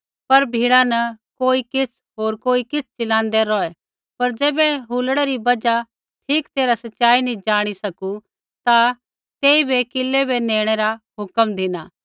पर भीड़ा न कोई किछ़ होर कोई किछ़ चलांदै रौहै पर ज़ैबै हुलड़ै री बजहा ठीक तैरहा सच़ाई नी ज़ाणी सकू ता तेइबै किलै बै नेणै रा हुक्म धिना